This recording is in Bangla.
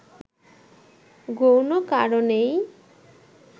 গৌণ কারণেই